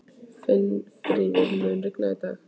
Finnfríður, mun rigna í dag?